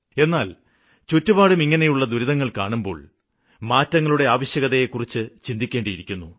എന്നാല് ചുറ്റുപാടും ഇങ്ങനെയുള്ള ദുരിതങ്ങള് കാണുമ്പോള് മാറ്റങ്ങളുടെ ആവശ്യകതയെക്കുറിച്ച് ചിന്തിക്കേണ്ടിയിരിക്കുന്നു